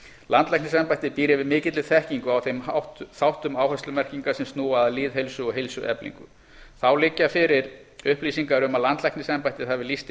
landlæknisembættið býr yfir mikilli þekkingu á þeim þáttum áherslumerkinga sem snúa að lýðheilsu og heilsueflingu þá liggja fyrir upplýsingar um að landlæknisembættið hafi lýst